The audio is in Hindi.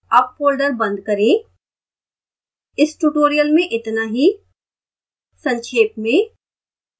अब folder बंद करें इस ट्यूटोरियल में इतना ही संक्षेप में